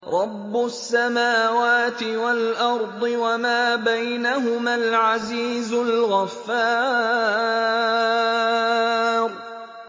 رَبُّ السَّمَاوَاتِ وَالْأَرْضِ وَمَا بَيْنَهُمَا الْعَزِيزُ الْغَفَّارُ